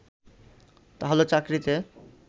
তাহলে চাকরিতে